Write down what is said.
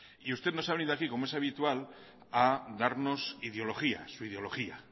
y usted nos ha venido aquí como es habitual a darnos ideología su ideología